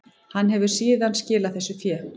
Hann hefur síðan skilað þessu fé